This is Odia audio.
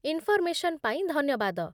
ଇନ୍ଫର୍ମେସନ୍ ପାଇଁ ଧନ୍ୟବାଦ ।